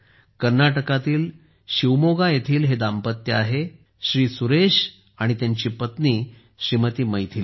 कर्नाटकातील शिवमोगा येथील हे जोडपे आहे श्री सुरेश आणि त्यांची पत्नी श्रीमती मैथिली